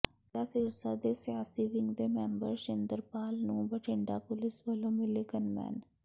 ਡੇਰਾ ਸਿਰਸਾ ਦੇ ਸਿਆਸੀ ਵਿੰਗ ਦੇ ਮੈਂਬਰ ਸ਼ਿੰਦਰਪਾਲ ਨੂੰ ਬਠਿੰਡਾ ਪੁਲਿਸ ਵਲੋਂ ਮਿਲੇ ਗੰਨਮੈਨ